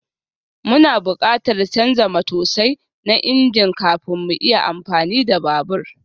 Muna buƙatar canza matosai na injin kafin mu iya amfani da babur